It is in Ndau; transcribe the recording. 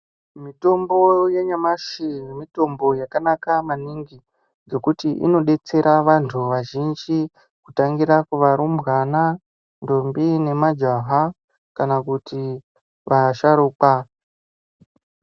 Mitombo yanyamashi mitombo yakanaka maningi ngekuti inodetsera vantu vazhinji kutangira kuvarumbwana, ndombi nemajaha kana kuti vasharukwa.